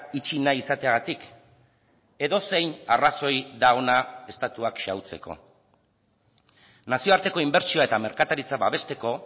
itxi nahi izateagatik edozein arrazoi da ona estatuak xahutzeko nazioarteko inbertsioa eta merkataritza babesteko